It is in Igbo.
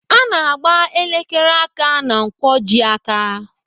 Ana agba elekere aka ná nkwojiaka.